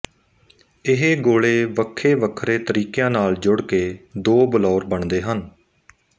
ਇਹ ਗੋਲੇ ਵੱਖੇ ਵੱਖਰੇ ਤਰੀਕਿਆਂ ਨਾਲ ਜੁੜਕੇ ਦੋ ਬਲੌਰ ਬਣਦੇ ਹਨ